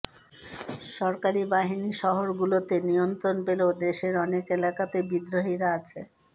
সরকারি বাহিনী শহরগুলোতে নিয়ন্ত্রণ পেলেও দেশের অনেক এলাকাতেই বিদ্রোহীরা আছে